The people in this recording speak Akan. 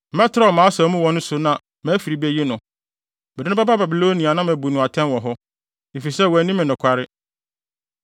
Mɛtrɛw mʼasau mu wɔ ne so na mʼafiri beyi no. Mede no bɛba Babilonia na mabu no atɛn wɔ hɔ, efisɛ wanni me nokware.